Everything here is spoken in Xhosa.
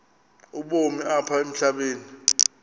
ubomi apha emhlabeni